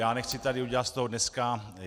Já nechci tady udělat z toho dneska...